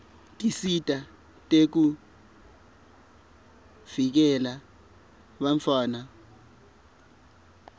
tinsita tekuvikela bantfwana